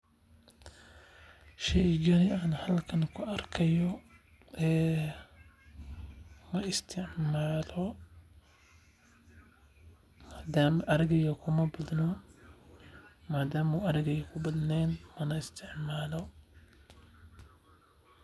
Sheygani aan halkan ku arkaa haayo ma isticmaalo hadana arageyga kuma badno madama arageyga uu ku badneen mana isticmaalo.